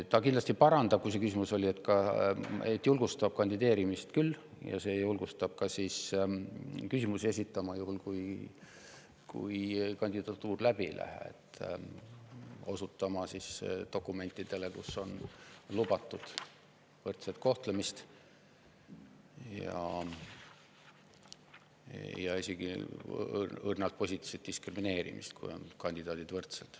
Ta kindlasti parandab olukorda, julgustab kandideerima ja ka küsimusi esitama, juhul kui kandidatuur läbi ei lähe, osutama dokumentidele, kus on lubatud võrdset kohtlemist ja isegi õrnalt positiivset diskrimineerimist, kui kandidaadid on võrdsed.